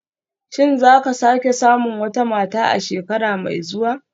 Shin za ku sake samun wata mata a shekara mai zuwa